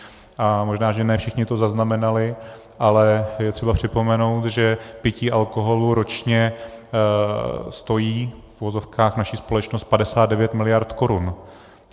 A možná že ne všichni to zaznamenali, ale je třeba připomenout, že pití alkoholu ročně stojí, v uvozovkách, naši společnost 59 miliard korun.